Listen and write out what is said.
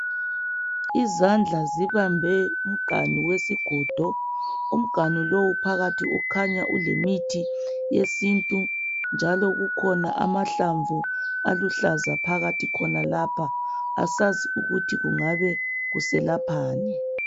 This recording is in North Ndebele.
Izandla zibambe umganu wesigodo. Umganu lo phakathi kukhanya kulemithi yesintu njalo kukhona amahlamvu aluhlaza phakathi khonapha asazi ukuthi kungabe kuselaphani.